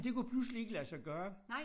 Det kunne pludselig ikke lade sig gøre